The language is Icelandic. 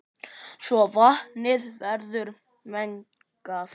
svo vatnið verður mengað.